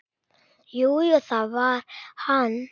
Jú, jú, það var hann.